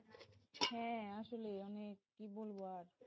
হ্যাঁ আসলে অনেক কি বলব আর,